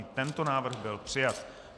I tento návrh byl přijat.